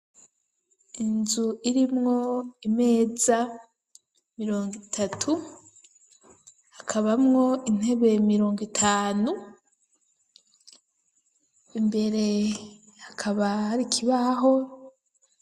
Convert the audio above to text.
Inzu irimwo imeza mirongwitatu akabamwo intebe mirongwitanu imbere hakaba hari ikibaho.